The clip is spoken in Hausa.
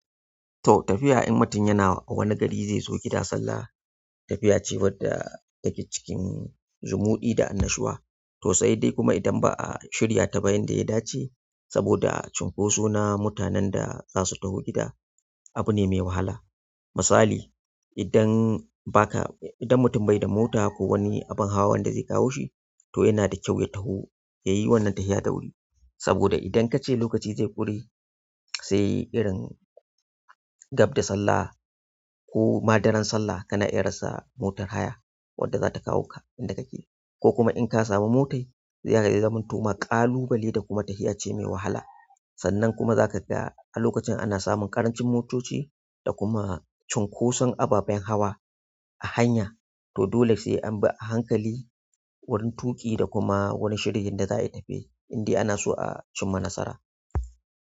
Toh tafiya idan mutum yana wani gari zai zo gida sallah, tafiya ce wadda take cikin zumuɗi da annashuwa to sai dai kuma idan ba a shirya ta ba yanda ya dace saboda cunkoso na mutanen da za su taho gida, abu ne mai wahala. Misali idan baka, idan mutum bai da mota ko wani abin hawan da zai kawo shi, to yana da kyau ya taho ya yi wannan tafiya da wuri. Saboda idan kace lokaci zai ƙure sai irin gab da sallah koma daran sallah kana iya rasa motar haya wadda zata kawo ka inda kake. Ko kuma in ka samu motai, zai zamantoma ƙalubale da kuma tafiya ce mai wahala. Sannan kuma zaka ga a lokacin ana samun ƙarancin motoci da kuma cunkoson ababen hawa a hanya, to dole sai an bi a hankali wurin tuƙi da kuma wari shirya yanda za a yi tafiya in dai ana so a cimma nasara.